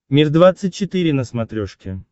мир двадцать четыре на смотрешке